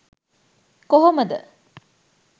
කොහොම ද?